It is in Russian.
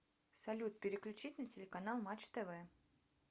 салют переключить на телеканал матч тв